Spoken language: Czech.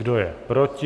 Kdo je proti?